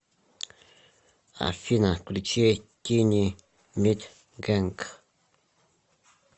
афина включи тини мит генг